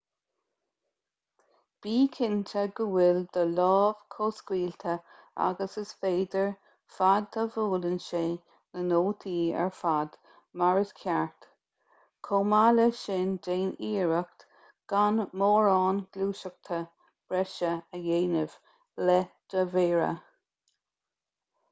bí cinnte go bhfuil do lámh chomh scaoilte agus is féidir fad a bhuaileann sé na nótaí ar fad mar is ceart chomh maith le sin déan iarracht gan mórán gluaiseachta breise a dhéanamh le do mhéara